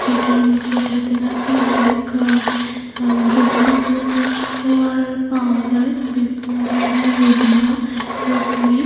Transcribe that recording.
যেটা আনছে এটাতে নাকি অনেক আঃ আঃ বিভিন্ন ধরণের খাওয়ার পাওয়া যায় বিভিন্ন ধরণের বিভিন্ন রকমের।